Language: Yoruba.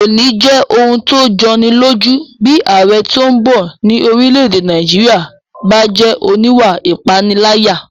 Kò ní jẹ́ ohun tó jọni lójú bí ààrẹ tó bọ̀ ní orílẹ̀-èdè Nàìjíríyà bá jẹ́ oníwà ìpániláyà